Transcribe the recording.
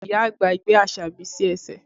Ìyá àgbà gbé Asabi sí ẹsẹ̀